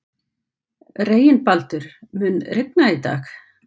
Reginbaldur, mun rigna í dag?